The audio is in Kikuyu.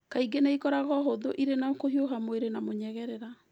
Kaingĩ nĩ ĩkoragwo hũthũ ĩrĩ na kũhiũha mwĩrĩ na mũnyegerera.